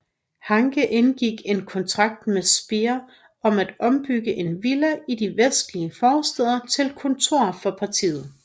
Hanke indgik en kontrakt med Speer om at ombygge en villa i de vestlige forstæder til kontor for partiet